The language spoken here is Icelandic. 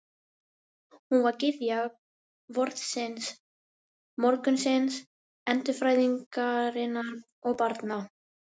Hún var gyðja vorsins, morgunsins, endurfæðingarinnar og barna.